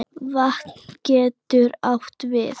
Vatn getur átt við